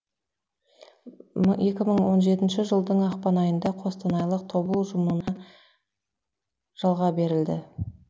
екі мың он жетінші жылдың ақпан айында қостанайлық тобыл ұжымына жалға берілді